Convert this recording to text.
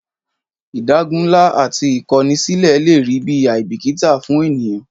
Ìdágunlá ati ìkọni sílẹ̀ lè rí bi àìbìkítà fún ènìyàn